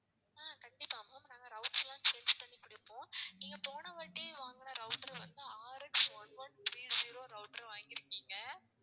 ஆஹ் கண்டிப்பா ma'am நாங்க routers லாம் change பண்ணி கொடுப்போம் நீங்க போன வாட்டி வாங்குன router வந்து RX one one three zero router வாங்கி இருக்கீங்க.